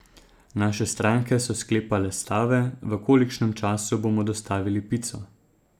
Naše stranke so sklepale stave, v kolikšnem času bomo dostavili pico.